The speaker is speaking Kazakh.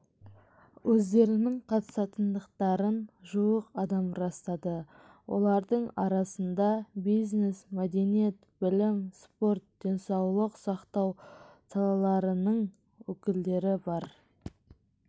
өздерінің қатысатындықтарын жуық адам растады олардың арасында бизнес мәдениет білім спорт денсаулық сақтау салаларының өкілдері бар